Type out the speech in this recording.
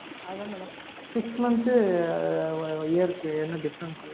அதா madam six month year க்கு என்ன difference madam?